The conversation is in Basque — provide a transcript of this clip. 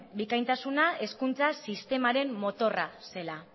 bikaintasuna hezkuntza sistemaren motorra zela